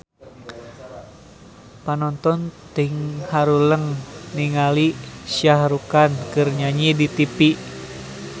Panonton ting haruleng ningali Shah Rukh Khan keur nyanyi di tipi